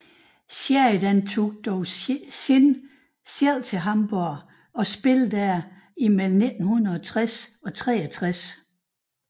Sheridan tog dog senere selv til Hamborg og spillede der melle m 1960 og 63